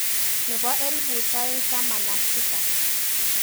Nebo elbut aeng'taman aka tisap.